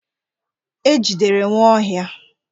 E jidere Nwaohia.